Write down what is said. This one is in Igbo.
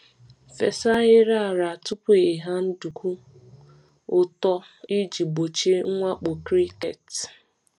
Fesa ahịrị ala tupu ịgha nduku ịgha nduku ụtọ iji gbochie mwakpo cricket.